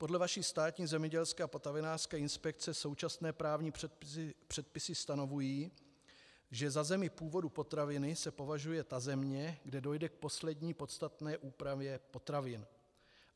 Podle vaší Státní zemědělské a potravinářské inspekce současné právní předpisy stanovují, že za zemi původu potraviny se považuje ta země, kde dojde k poslední podstatné úpravě potravin.